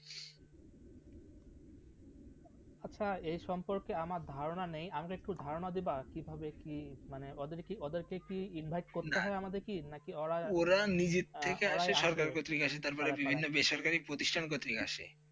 আচ্ছা এ সম্পর্কে আমার ধারণা নেই আমাকে একটু ধারণা দিবা কিভাবে কি মানে ওদেরকে কি ইনভাইট করতে হয় আমাদের কি না কি ওরা, ওরা নিচের থেকে আসে সরকার থেকে ক্ষেত্রে তারপর বিভিন্ন বেসরকারি প্রতিষ্ঠান ক্ষেত্রে আসে